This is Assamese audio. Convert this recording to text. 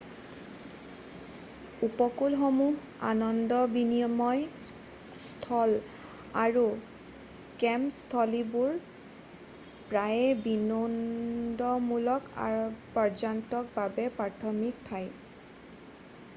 উপকূলসমূহ আনন্দ বিনিময় স্থল আৰু কেম্প স্থলীবোৰ প্ৰায়ে বিনোদনমূলক পৰ্যটকৰ বাবে প্ৰাথমিক ঠাই